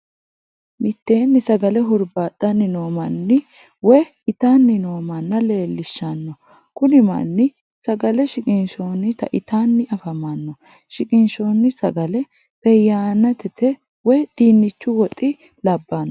Mitteenni sagale huribaxanni noo manna woyi ittani noo mana leellishanno, kuni mani sagale shiqinshoonitta ittanni afamanno, shiqinshoni sagale beyayinete woyi dinichu woxi labanno